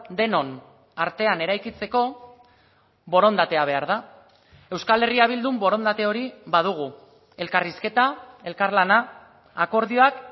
denon artean eraikitzeko borondatea behar da euskal herria bildun borondate hori badugu elkarrizketa elkarlana akordioak